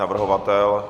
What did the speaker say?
Navrhovatel?